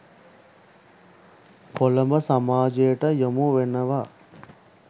කොළඹ සමාජයට යොමු වෙනව